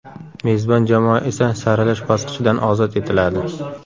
Mezbon jamoa esa saralash bosqichidan ozod etiladi.